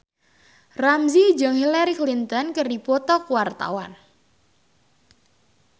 Ramzy jeung Hillary Clinton keur dipoto ku wartawan